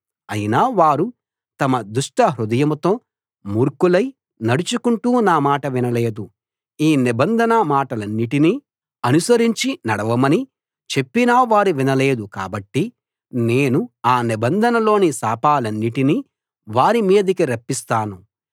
అయినా వారు తమ దుష్టహృదయంతో మూర్ఖులై నడుచుకుంటూ నామాట వినలేదు ఈ నిబంధన మాటలన్నిటినీ అనుసరించి నడవమని చెప్పినా వారు వినలేదు కాబట్టి నేను ఆ నిబంధనలోని శాపాలన్నిటినీ వారి మీదికి రప్పిస్తాను